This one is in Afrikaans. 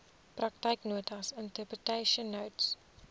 praktyknotas interpretation notes